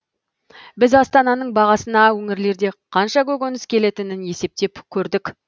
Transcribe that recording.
біз астананың бағасына өңірлерде қанша көкөніс келетінін есептеп көрдік